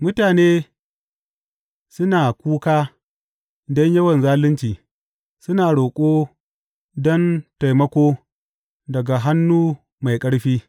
Mutane suna kuka don yawan zalunci; suna roƙo don taimako daga hannu mai ƙarfi.